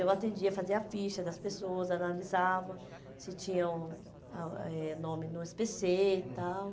Eu atendia, fazia ficha das pessoas, analisava se tinham ah eh nome no esse pê cê e tal. Hum.